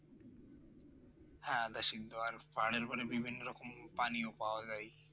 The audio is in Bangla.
হ্যাঁ আধা সিদ্ধ পানি মানে বিভিন্ন রকম পানীয় পাওয়া যায়